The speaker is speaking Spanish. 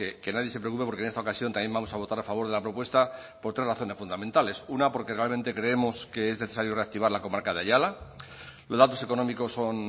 que nadie se preocupe porque en esta ocasión también vamos a votar a favor de la propuesta por tres razones fundamentales una porque realmente creemos que es necesario reactivar la comarca de aiala los datos económicos son